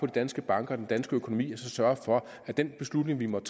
danske banker og den danske økonomi og så sørge for at den beslutning vi måtte